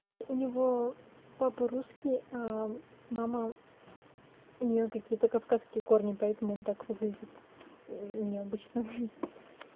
у него папа русский мама у нее какие-то кавказские корни поэтому он так выглядит необычно